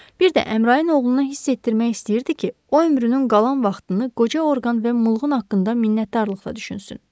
Bir də Əmrayın oğluna hiss etdirmək istəyirdi ki, o ömrünün qalan vaxtını qoca orqan və mulğun haqqında minnətdarlıqla düşünsün.